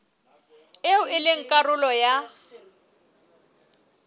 eo e leng karolo ya